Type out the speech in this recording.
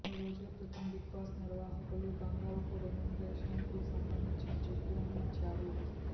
కొన్ని రోజుల క్రితం బిగ్ బాస్ నిర్వాహకులు గంగవ్వకు రెమ్యునరేషన్ కు సంబంధించిన చెక్కులను ఇచ్చారు